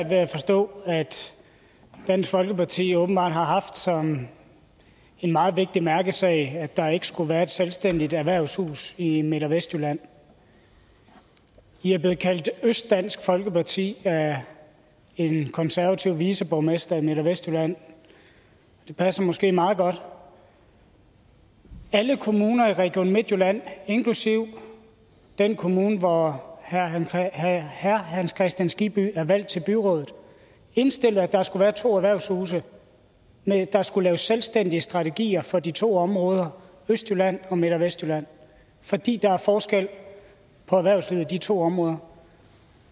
ved at forstå at dansk folkeparti åbenbart har haft som en meget vigtig mærkesag at der ikke skulle være et selvstændigt erhvervshus i midt og vestjylland i er blevet kaldt østdansk folkeparti af en konservativ viceborgmester i midt og vestjylland det passer måske meget godt alle kommuner i region midtjylland inklusive den kommune hvor herre hans kristian skibby er valgt til byrådet indstillede at der skulle være to erhvervshuse der skulle laves selvstændige strategier for de to områder østjylland og midt og vestjylland fordi der er forskel på erhvervslivet i de to områder